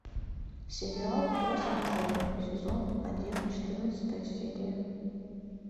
сериал форс мажоры сезон один четырнадцатая серия